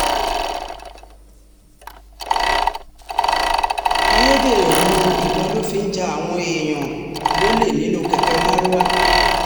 ayédèrú um ìbọn ló fi ń ja àwọn èèyàn um lólè nínú kẹ̀kẹ́ marwa